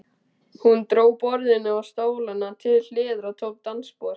Hún dró borðið og stólana til hliðar og tók dansspor.